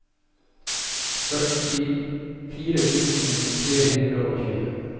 førtifire tusen tre hundre og tjue